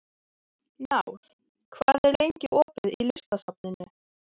Náð, hvað er lengi opið í Listasafninu?